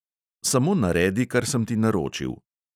Samo naredi, kar sem ti naročil.